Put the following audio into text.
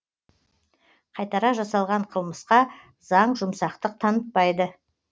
қайтара жасалған қылмысқа заң жұмсақтық танытпайды